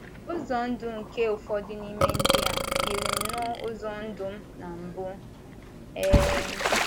“ Ụzọ ndụ nke ụfọdụ n’ime ndị a yiri nnọọ ụzọ ndụ m na mbụ. um